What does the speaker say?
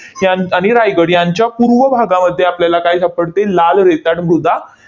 यांत आणि रायगड यांच्या पूर्व भागामध्ये आपल्याला काय सापडते? लाल रेताड मृदा